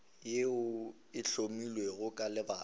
yeo e hlomilwego ka lebaka